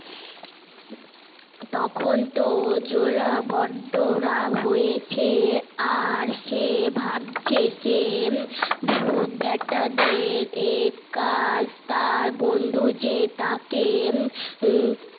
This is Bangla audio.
তখন তো জোলা বড্ড রাগ হয়েছে আর সে ভাবছে সে ভুত বেটাদের এ তার বন্ধু যে তাকে